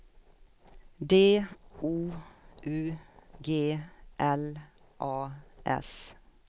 D O U G L A S